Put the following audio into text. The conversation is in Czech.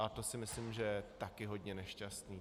A to si myslím, že je taky hodně nešťastné.